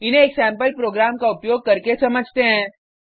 इन्हें एक sample program का उपयोग करके समझते हैं